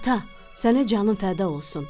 Ata, sənə canım fəda olsun.